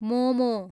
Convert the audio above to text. momo